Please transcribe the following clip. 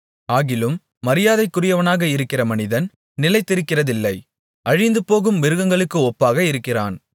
ஆகிலும் மரியாதைக்குரியவனாக இருக்கிற மனிதன் நிலைத்திருக்கிறதில்லை அழிந்துபோகும் மிருகங்களுக்கு ஒப்பாக இருக்கிறான்